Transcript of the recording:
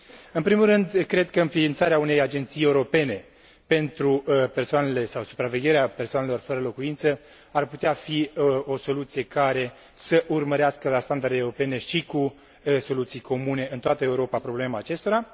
În primul rând, cred că înființarea unei agenții europene pentru persoanele sau supravegherea persoanelor fără locuință ar putea fi o soluție care să urmărească, la standarde europene și cu soluții comune în toată Europa, problema acestora.